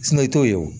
i t'o ye o